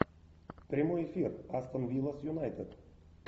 прямой эфир астон вилла с юнайтед